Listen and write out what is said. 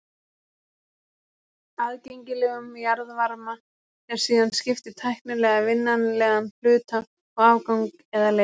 Aðgengilegum jarðvarma er síðan skipt í tæknilega vinnanlegan hluta og afgang eða leifð.